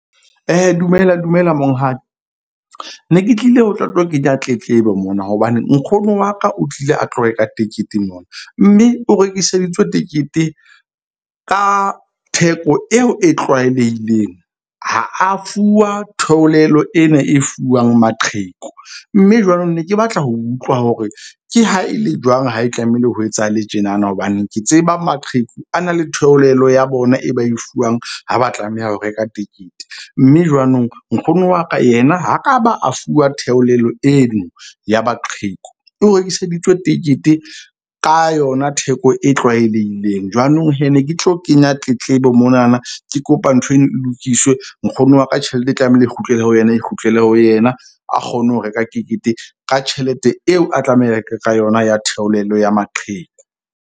Dumela, dumela, monghadi ne ke tlile ho tlo tlo kenya tletlebo mona. Hobane nkgono wa ka o tlile a tlo reka tekete mona. Mme o rekiseditswe tekete ka theko eo e tlwaelehileng. Ha a fuwa theolelo ena e fuwang maqheku. Mme jwanong ne ke batla ho utlwa hore ke ha e le jwang ha e tlamehile ho etsahale tjenana. Hobane ke tseba maqheku a na le theolelo ya bona e ba e fuwang. Ha ba tlameha ho reka tekete. Mme jwanong nkgono wa ka yena ha ka ba a fuwa theolelo eo ya maqheku. O rekiseditswe tekete ka yona theko e tlwaelehileng. Jwanong ne ke tlo kenya tletlebo monana ke kopa ntho eno e lokiswe. Nkgono wa ka tjhelete e tlamehile e kgutlele ho yena, e kgutlele ho yena, a kgone ho reka tekete ka tjhelete eo, a tlameha ho reka ka yona ya theolelo ya maqheku.